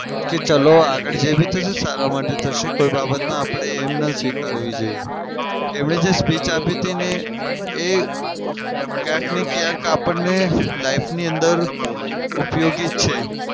કે ચાલો આગળ જે બી થશે એ સારા માટે જ થશે કોઈ બાબતમાં આપડે એમ ના સ્વીકારવી જોઈએ એમને જે speech આપી હતીને એ કયાંકને ક્યાંક આપડને life ની અંદર ઉપયોગી છે.